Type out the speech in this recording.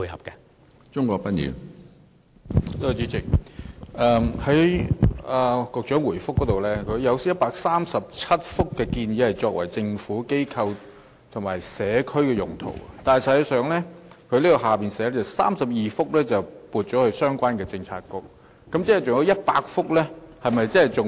主席，局長在主體答覆中提到，有137幅建議作"政府、機構或社區"用途的空置校舍用地，之後又提到當中32幅已撥予相關政策局作相關發展。